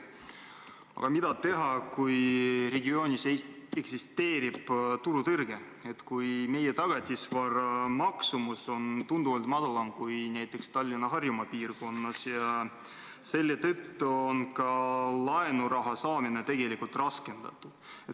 Aga mida teha, kui regioonis on turutõrge, kui meie tagatisvara maksumus on tunduvalt väiksem kui näiteks Tallinna ja Harjumaa piirkonnas ning selle tõttu on ka laenuraha saamine tegelikult raskendatud?